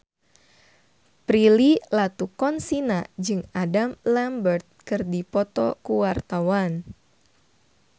Prilly Latuconsina jeung Adam Lambert keur dipoto ku wartawan